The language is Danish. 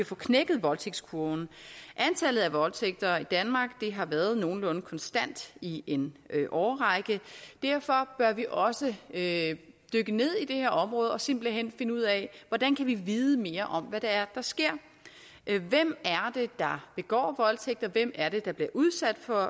få knækket voldtægtskurven antallet af voldtægter i danmark har været nogenlunde konstant i en årrække og derfor bør vi også dykke ned i det her område og simpelt hen finde ud af hvordan vi kan vide mere om hvad det er der sker hvem er det der begår voldtægt og hvem er det der bliver udsat for